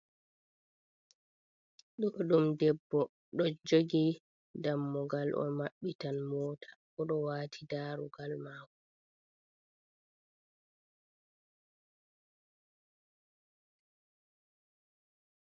Ɗo ɗum debbo ɗo jogi dammugal. O mabbitan mota o ɗo wati daarugal maako.